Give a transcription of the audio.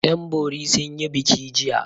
Yanbori sun yi biki jiya.